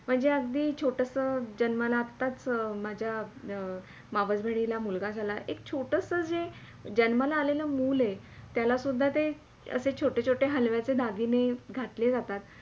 म्हणजे अगदी छोटास जन्माला आताच माझ्या मावस बहिणीला एक मुलगा झाला आहे एक छोटसा जन्माला आलेला मूल आहे त्याला सुदधा असे छोटे - छोटे हलव्यांचे दागिने घातले जातात.